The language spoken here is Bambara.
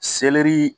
Selɛri